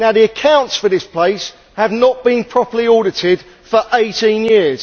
Now the accounts for this place have not been properly audited for 18 years.